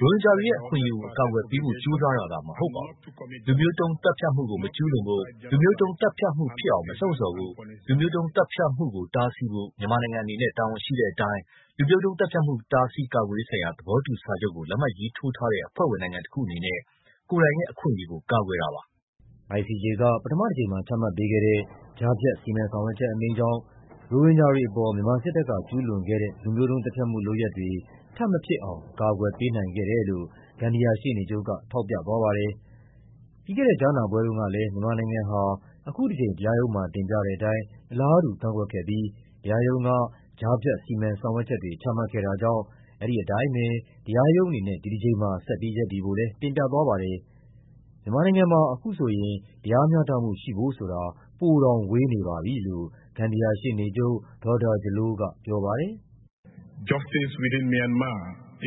ရိုဟင်ဂျာတွေရဲ့အခွင့်အရေးကို အကာအကွယ်ပေးဖို့ ကြိုးစားတာသာမဟုတ်ပါဘူး၊ လူမျိုးတုံးသတ်ဖြတ်မှုကို မကျူးလွန်ဖို့၊ လူမျိုးတုံးသတ်ဖြတ်မှုဖြစ်အောင် မလှုံ့ဆော်ဖို့၊ လူမျိုးတုံး သတ်ဖြတ်မှုကိုတားဆီးဖို့ မြန်မာနိုင်ငံအနေနဲ့ တာဝန်ရှိတဲ့အတိုင်း လူမျိုးတုံးသတ်ဖြတ်မှု တားဆီးကာကွယ်ရေးဆိုင်ရာ သဘောတူစာချုပ်ကို လက်မှတ်ရေးထိုးထားတဲ့ အဖွဲ့ဝင်နိုင်ငံတခုအနေနဲ့ ကိုယ်တိုင်ရဲ့အခွင့် အရေးကို ကာကွယ်တာပါ။” ICJ က ပထမတကြိမ်မှာ ချမှတ်ပေးခဲ့တဲ့ ကြားဖြတ် စီမံဆောင်ရွက်ချက်အမိန့်ကြောင် ရိုဟင်ဂျာတွေအပေါ် မြန်မာစစ်တပ်က ကျူးလွန်ခဲ့တဲ့ လူမျိုးတုံးသတ်ဖြတ်မှုလုပ်ရပ်တွေ ထပ်မဖြစ်အောင် အကာအကွယ်ပေးနိုင်ခဲ့တယ်လို့ ဂမ်ဘီယာရှေ့နေချုပ်က ထောက်ပြသွားပါတယ်။ ပြီးခဲ့တဲ့ ကြားနာပွဲတုံးကလည်း မြန်မာနိုင်ငံဟာ အခုတကြိမ် တရားရုံးမှာ တင်ပြတဲ့အတိုင်း အလားတူကန့်ကွက်ခဲ့ပြီး တရားရုံးက ကြားဖြတ် စီမံဆောင်ရွက်ချက်တွေ ချမှတ်ခဲ့တာကြောင့် အဲဒီအတိုင်းပဲ တရားရုံးအနေနဲ့ ဒီတကြိမ်မှာ ဆက်ပြီးရပ်တည်ဖို့လည်း တင်ပြသွားပါတယ်။ မြန်မာနိုင်ငံမှာ အခုဆိုရင် တရားမျှတမှုရှိဖို့ိုဆိုတာ ပိုတောင်ဝေးနေပါပြီလို့ ဂမ်ဘီယာရှေ့နေချုပ် Dawda Jallow ကပြောပါတယ်။ “မြန်မာနိုင်ငံတွင်းမှာ တ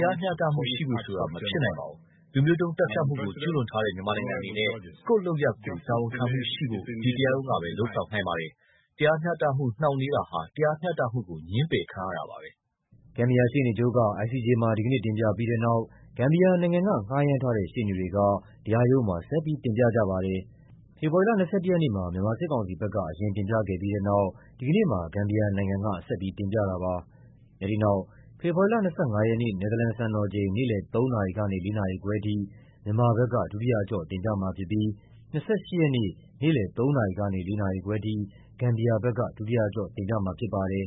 ရားမျှတမှုရှိဖို့ဆိုတာ မဖြစ်နိုင်ပါဘူး။ လူမျိုးတုံးသတ်ဖြတ်မှုကို ကျူးလွန်ထားတဲ့ မြန်မာနိုင်ငံအနေနဲ့ ကိုယ့် လုပ်ရပ်ကိုယ် တာဝန်ခံမှုရှိဖို့ ဒီတရားရုံးကပဲ လုပ်ဆောင်နိုင်ပါတယ်။ တရားမျှတမှု နှောင့်နှေးတာဟာ တရားမျှတမှုကို ငြင်းပယ်ခံရတာပါပဲ။” ဂမ်ဘီယာရှေ့နေချုပ်က တင်ပြပြီးတဲ့နောက် ဂမ်ဘီယာနိုင်ငံက ငှားရမ်းထားတဲ့ ရှေ့နေတွေက တရားရုံးမှာ ဆက်ပြီး တင်ပြကြပါတယ်။ ဖေဖော်ဝါရီလ ၂၁ ရက်နေ့မှာ မြန်မာစစ်ကောင်စီဘက်က အရင်တင်ပြခဲ့ပြီးတဲ့နောက် ဒီကနေ့မှာ ဂမ်ဘီယာနိုင်ငံက တင်ပြတာပါ။ အဲဒီနောက် ဖေဖော်ဝါရီလ ၂၅ ရက်နေ့ နယ်သာလန်စံတော်ချိန် နေ့လည် ၃ နာရီကနေ ၄ နာရီခွဲအထိ မြန်မာဘက်က ဒုတိယ အကျော့ တင်ပြမှာဖြစ်ပြီး ၂၈ ရက်နေ့ နေ့လည် ၃ နာရီကနေ ၄ နာရီခွဲအထိ ဂမ်ဘီယာဘက်က ဒုတိယအကျော့ တင်ပြမှာဖြစ်ပါ တယ်